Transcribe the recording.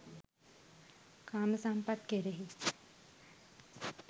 කාම සම්පත් කෙරෙහි